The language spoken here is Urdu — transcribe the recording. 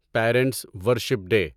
parents worship day